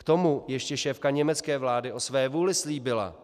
K tomu ještě šéfka německé vlády o své vůli slíbila